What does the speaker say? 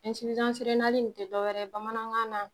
tɛ dɔ wɛrɛ ye bamanankan na